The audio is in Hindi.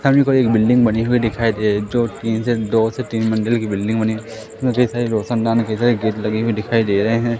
सभी को एक बिल्डिंग बनी हुई दिखाई दे रही जो तीन से दो से तीन मंजिल की बिल्डिंग बनी जिसमे ढेर सारे रोशनदान ढेर सारे गेट लगे हुए दिखाई दे रहे हैं।